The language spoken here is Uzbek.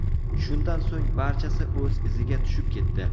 Shundan so‘ng barchasi o‘z iziga tushib ketdi.